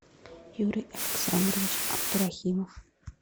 юрий александрович абдурахимов